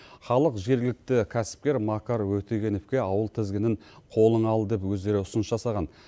халық жергілікті кәсіпкер макар өтегеновке ауыл тізгінін қолыңа ал деп өздері ұсыныс жасаған